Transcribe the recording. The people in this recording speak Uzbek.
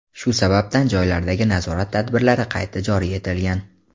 shu sababdan joylardagi nazorat tadbirlari qayta joriy etilgan.